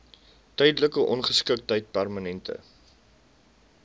tydelike ongeskiktheid permanente